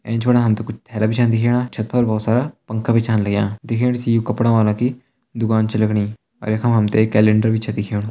एंच फणा हम तें कुछ थैला भी छन दिखेणा छत पर बहोत सारा पंखा भी छन लग्यां दिखेण से यु कपड़ां वाला की दुकान छ लग्णी और यख मा हम तैं कैलेंडर भी छ दिखेणु।